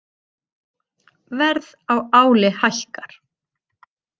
Verð á áli hækkar